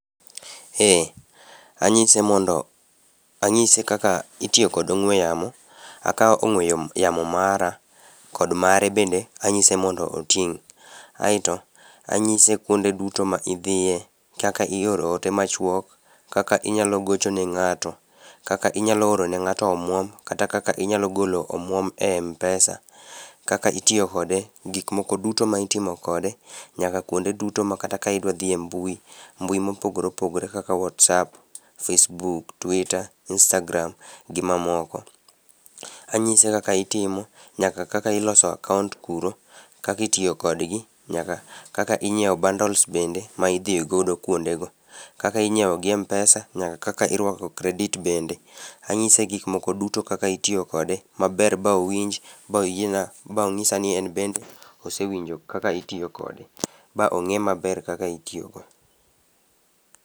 Eh anyise mondo anyise kaka itiyo kod ong'ue yamo akawo ong'ue yamo mara kod mare bende anyise mondo oting' aeto anyise kuonde duto ma idhiye kaka ioro ote machuok, kaka inyalo gocho ne ng'ato, kaka inyalo oro ne ng'ato omuom kata kaka inyalo golo omuom e m-pesa, kaka itiyo kode. Gik moko duto ma itimo kode nyaka kuonde duto makata ka idwa dhi e mbui. Mbui ma opogore opogore kaka whatsapp, facebook, twita, istagram to gi mamoko. Anyise kaka itimo nyaka kaka iloso akaont kuro kaka iiyo kodgi nyaka kaka inyiewo bundles bende ma idhigodo kuondego. Ka inyiewo gi m-pesa kod kaka inyiewo credit bende. Anyise gik moko duto kaka itiyo kode maber ba owinj ba oyieni ba onyisa ni en bende osewinjo kaka itiyo kode ba ong'e maber kaka itiyo kode.